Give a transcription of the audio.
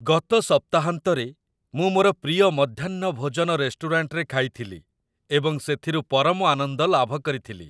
ଗତ ସପ୍ତାହାନ୍ତରେ ମୁଁ ମୋର ପ୍ରିୟ ମଧ୍ୟାହ୍ନ ଭୋଜନ ରେଷ୍ଟୁରାଣ୍ଟରେ ଖାଇଥିଲି, ଏବଂ ସେଥିରୁ ପରମ ଆନନ୍ଦ ଲାଭ କରିଥିଲି।